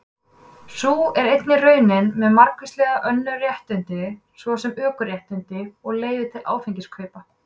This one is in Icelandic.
Sú er einnig raunin með margvísleg önnur réttindi, svo sem ökuréttindi og leyfi til áfengiskaupa.